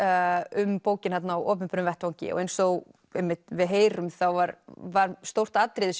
um bókina þarna á opinberum vettvangi og eins og einmitt við heyrum var var stórt atriði